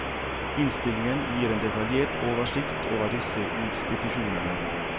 Innstillingen gir en detaljert oversikt over disse institusjonene.